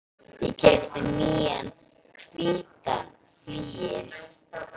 Ég keypti nýjan hvítan flygil.